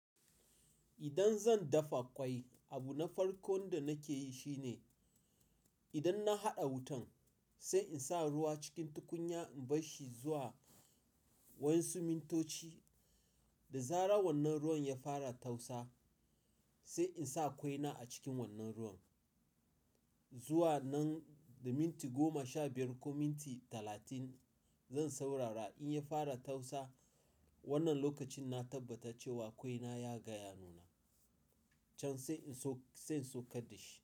Idan zan dafa ƙwai, abu na farko da nake yi shine, idan na haɗa wutan, sai in sa ruwa cikin tukunya in bar shi zuwa wa yansu mintoci. Da zarar wannan ruwan ya fara tausa, sai in sa ƙwaina a cikin wannan ruwan. Zuwa nan da minti goma, sha biyar ko minti talatin zan saurara. In ya fara tausa, wannan lokacin na tabbata cewa ƙwaina ya gaya nuna can sai in so-- sai in saukar da shi.